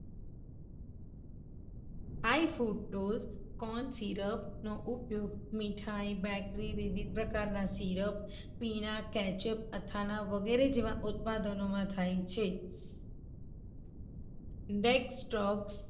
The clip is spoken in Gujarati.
high food dose corn syrup નો ઉપયોગ મિઠાઇ, bakery, વિવિધ પ્રકારના syrup, પીણા, kechup, અથાણા વગેરે જેવા ઉત્પાદનોમાં થાય છે. dextrose